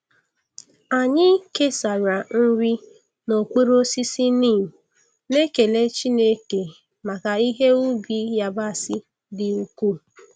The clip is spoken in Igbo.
Anyị kesara nri n'okpuru osisi neem, na-ekele Chineke maka ihe ubi yabasị dị ukwuu.